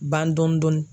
Ban dɔni dɔni